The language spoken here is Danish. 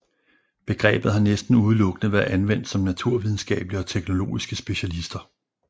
Begrebet har næsten udelukkende været anvendt om naturvidenskabelige og teknologiske specialister